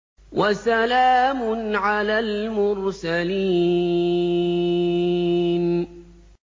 وَسَلَامٌ عَلَى الْمُرْسَلِينَ